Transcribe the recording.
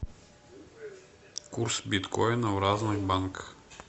курс биткоина в разных банках